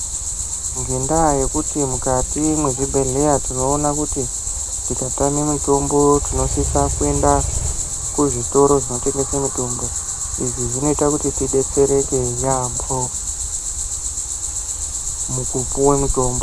Ngendaa yekuti mukati mwezvibhedhlera tinoona kuti tikatame mitombo tinosisa kuenda kuzvitoro zvinotengesa mitombo. Izvi zvinoita kuti tibetsereke yaamho mukupuwa mutombo.